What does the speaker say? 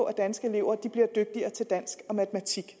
danske elever bliver dygtigere til dansk og matematik